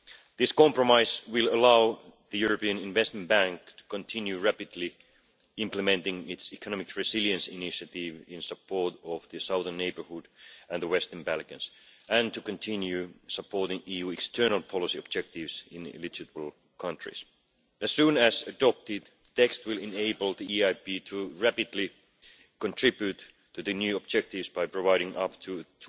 This compromise will allow the European Investment Bank to continue rapidly implementing its economic resilience initiative in support of the southern neighbourhood and the Western Balkans and to continue supporting EU external policy objectives in eligible countries. As soon as adopted, the text will enable the EIB to contribute rapidly to the new objectives by providing up to EUR